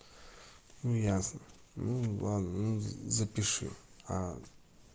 ну ясно ну ладно ну запиши а